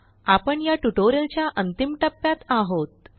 आपण या ट्युटोरियलच्या अंतिम टप्प्यात आहोत